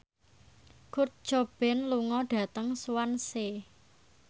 Kurt Cobain lunga dhateng Swansea